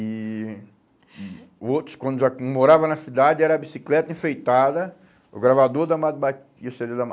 E hum o outros, quando já hum morava na cidade, era a bicicleta enfeitada, o gravador da Amado Ba e o cê dê do